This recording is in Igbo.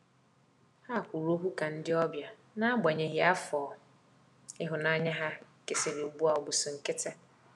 Ha kwụrụ ọkwụ ka ndi ọbia, n'agbanyeghi afọ ihunanya ha kesịrị ugbu a ọbụ si nkitị